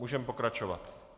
Můžeme pokračovat.